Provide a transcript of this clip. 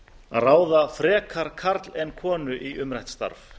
að ráða frekar karl en konu í umrætt starf